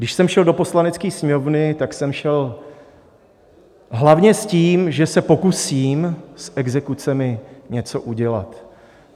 Když jsem šel do Poslanecké sněmovny, tak jsem šel hlavně s tím, že se pokusím s exekucemi něco udělat.